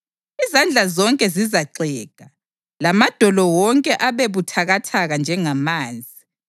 Izandla zonke zizaxega, lamadolo wonke abe buthakathaka njengamanzi.